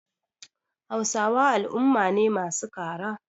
Hausawa al'umma ne masu kara.